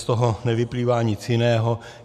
Z toho nevyplývá nic jiného.